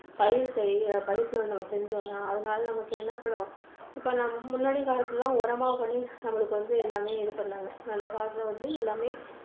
பயிர்~செய்யுங்க பரிசோதனை நம்ம செஞ்ஜோம்னா அதனால நமக்கு என்ன இப்போ நம்ம முன்னாடி காலத்துல எல்லாம் உரமா பண்ணி நம்மளுக்கு வந்து எல்லாமே இது பண்ணாங்க. நல்லதா வந்து எல்லாமே